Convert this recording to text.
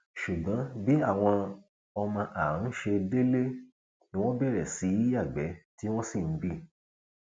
ṣùgbọn bí àwọn ọmọ àá ńṣe délé ni wọn bẹrẹ sí í yàgbẹ tí wọn sì ń bí